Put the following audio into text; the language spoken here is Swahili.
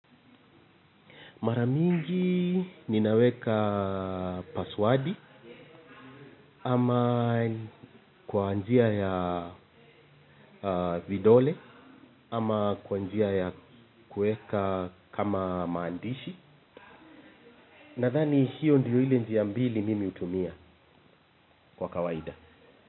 Mara mingi ninaweka paswadi ama kwa njia ya vidole ama kwa njia ya kueka kama maandishi. Nadhani hio ndio ile njia mbili mimi hutumia kwa kawaida.